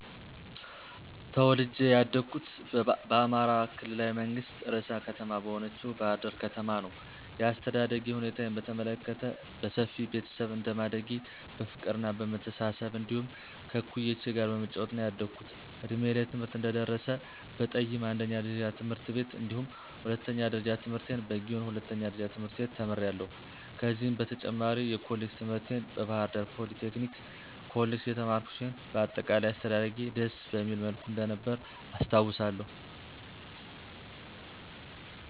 ተወልጀ ያደኩት በአማራ ክልላዊ መንግስት ርዕሰ ከተማ በሆነችው ባሕር ዳር ከተማ ነዉ። የአስተዳደግ ሁኔታዬን በተመለከት በሰፊ ቤተሰብ እንደማደጌ በፍቅርና በመተሳሰብ እንዲሁም ከእኩዮቼ ጋር በመጫወት ነዉ ያደኩት። እድሜዬ ለትምህርት እንደደረሰ በጠይማ አንደኛ ደረጃ ትምህርት ቤት እንዲሁም ሁለተኛ ደረጃ ትምህርቴን በጊዮን ሁለተኛ ደረጃ ትምህርት ቤት ተምሬያለሁ። ከዚህም በተጨማሪ የኮሌጅ ትምህርቴን በባህርዳር ፖሊቴክኒክ ኮሌጅ የተማርኩ ሲሆን በአጠቃላይ አስተዳደጌ ደስ በሚል መልኩ እንደነበረ አስታዉሳለሁ።